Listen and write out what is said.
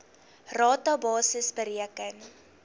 rata basis bereken